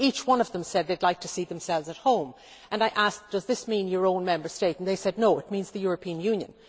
Each one of them said they would like to see themselves at home and I asked whether this meant their own Member State, and they said that it meant the European Union.